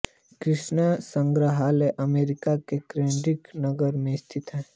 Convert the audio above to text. creation संग्रहालय America के Kentucky नगर में स्थित है